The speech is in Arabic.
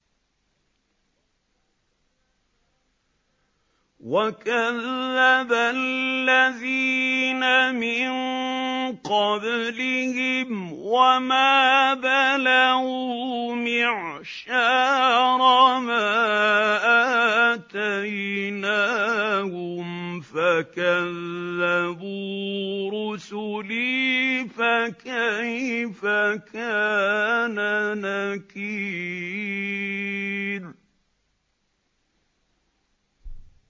وَكَذَّبَ الَّذِينَ مِن قَبْلِهِمْ وَمَا بَلَغُوا مِعْشَارَ مَا آتَيْنَاهُمْ فَكَذَّبُوا رُسُلِي ۖ فَكَيْفَ كَانَ نَكِيرِ